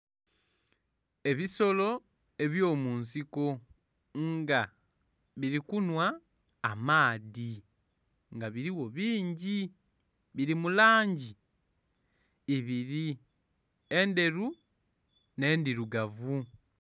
Ebisolo ebyo munsiko nga bili kunhwa amaadhi nga biligho bingi, bili mu langi ibiri endheru nhe'ndhirugavu.